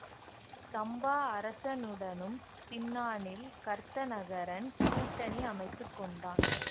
சம்பா அரசனுடனும் பின்னானில் கர்த்தநகரன் கூட்டணி அமைத்துக்கொண்டான்